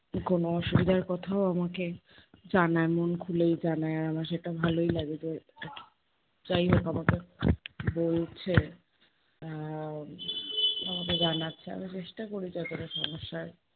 কোনো অসুবিধার কথাও আমাকে জানানো, খুলেই জানায় আমার সেটা ভালোই লাগে যে যাই হোক আমাকে বলছে। আহ আমাকে জানাচ্ছে আমি চেষ্টা করি যাতে ওদের সমস্যার